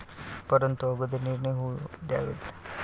परंतू अगोदर निर्णय होऊ द्यावेत.